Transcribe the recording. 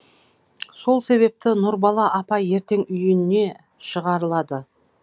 сол себепті нұрбала апа ертең үйіне шығарылады